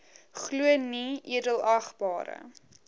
glo nee edelagbare